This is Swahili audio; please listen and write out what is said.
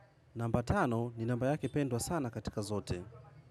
Namba tano ni namba yake pendwa sana katika zote.